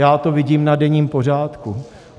Já to vidím na denním pořádku.